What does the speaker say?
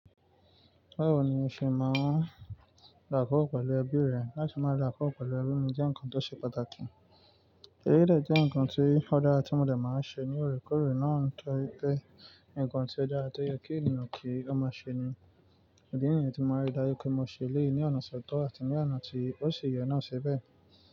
Bẹ́ẹ̀ ni o ṣe máa ń dàkọ́ pẹ̀lú ẹbí rẹ, láti máa dàkọ́ pẹ̀lú ẹbí jẹ́ ǹkan tó ṣe pàtàkì. Eleyii de jẹ́ ǹkan tí ọ̀ dara ti mòdè máa ń ṣe ní òrékòórè náà nitoripe ǹkan tí ọ̀ dara ti o ye kí ènìyàn kí ó máa ṣe ni. Idí nìyẹn tí màá rí dáju pé mo ṣe eleyii ní ọ̀nà tọ̀tọ̀ àti ní ọ̀nà tí ó sì ye ná ṣi bẹ́ẹ̀